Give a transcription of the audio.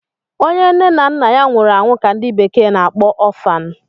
onye nne na nna nwuru anwu ka ndi bekee na-akpọ Orphan